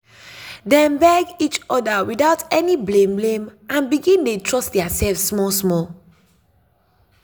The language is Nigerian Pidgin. dem beg each other without other without any blame blame and begin dey trust their self small small.